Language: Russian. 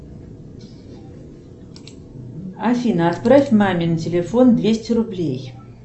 афина отправь маме на телефон двести рублей